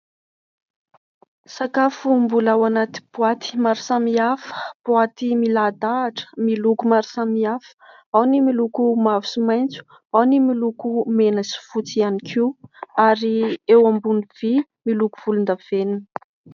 Sakafo mbola ao anaty boaty maro samihafa. Boaty milahadahatra miloko maro samihafa. Ao ny miloko mavo sy maitso, ao ny miloko mena sy fotsy ihany koa ary eo ambony vy miloko volondavenona.